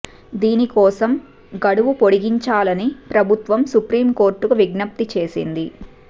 దీని కోసం గడువు పొడిగించాలని ప్రభుత్వం సుప్రీం కోర్టుకు విజ్ఞప్తి చేసింది